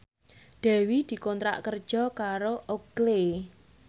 Dewi dikontrak kerja karo Oakley